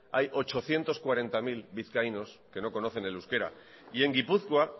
hay ochocientos cuarenta mil vizcaínos que no conocen el euskera y en gipuzkoa